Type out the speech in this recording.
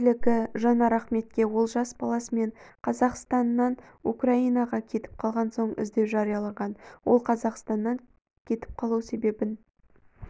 билігі жанар ахметке олжас баласымен қазақстаннанукраинаға кетіп қалғансоң іздеу жариялаған ол қазақстанан кетіп қалу себебін